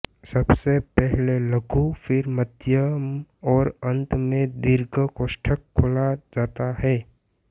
सबसे पहले लघु फिर मध्यम और अंत में दीर्घ कोष्ठक खोला जाता है